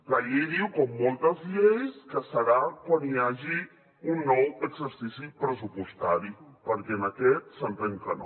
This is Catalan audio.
la llei diu com moltes lleis que serà quan hi hagi un nou exercici pressupostari perquè en aquest s’entén que no